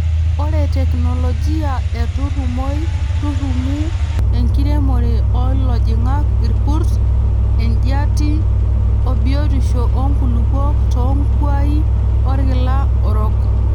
ore teknologia e turumoi turumu-enkiremore oo ilojing'ak, inkurt, ejiati, o biotisho oonkulupuok too nkuai orkila orok.